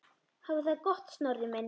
Hafðu það gott, Snorri minn.